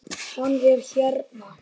Hann er hérna.